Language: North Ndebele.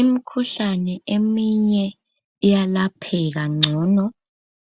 Imkhuhlane eminye iyalapheka ngcono